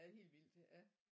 Ja det er helt vildt ja